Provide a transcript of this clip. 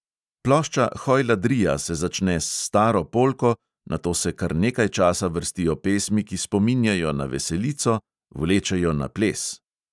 Plošča hojladrija se začne s staro polko, nato se kar nekaj časa vrstijo pesmi, ki spominjajo na veselico, vlečejo na ples.